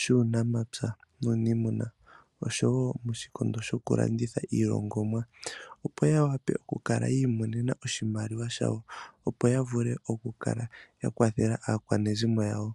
shuunamapya nuuniimuna oshowo moshikondo shoku landitha iilongomwa opo yawape okukala yi imonena oshimaliwa shawo opo yavule okukala ya kwathela aakwanezimo yawo.